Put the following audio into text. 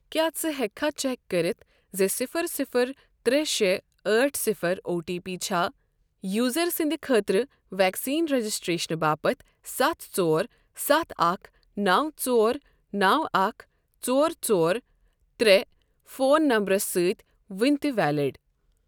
کیٛاہ ژٕ ہیٚککھا چیک کٔرِتھ زِ صِفر صِفر ترےٚ شےٚ ٲٹھ صِفر او ٹی پی چھا یوزر سٕنٛدۍ خٲطرٕ ویکسین رجسٹریشن باپتھ ستھ ژور ستھ اکھ نو ژور نو اکھ ژور ژور ترےٚ فون نمبرَس سۭتۍ ؤنہِ تہِ ویلِڑ؟